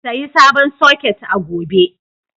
Sayi sabon soket a gobe.